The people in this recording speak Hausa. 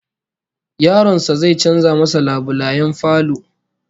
Yaron sa zai canza masa labulayen falo